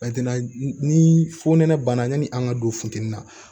ni fo nɛnɛ banna yani an ka don funtɛni na